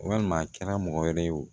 Walima a kɛra mɔgɔ wɛrɛ ye o